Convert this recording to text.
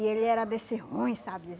E ele era desse ruim, sabe? Desse